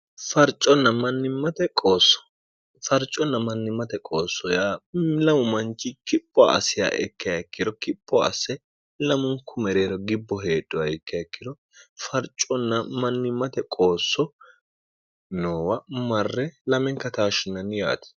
farconna mannimmate qoosso yaa lamu manchi kipho asiya ikke hekkiro kipho asse lamunku mereero gibbo heedho ya ikke ekkiro farconna mannimmate qoosso noowa marre lamenka taashshinanni yaati